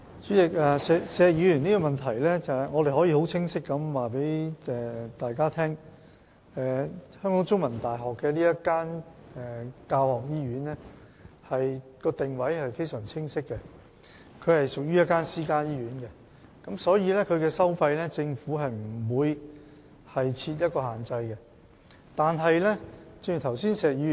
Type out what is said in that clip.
主席，關於石議員的補充質詢，我可以很清晰地告訴大家，中大轄下這間教學醫院的定位非常清晰，是屬於私營醫院，因此政府不會就該醫院的收費設下限制。